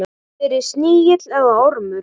Verði snigill eða ormur.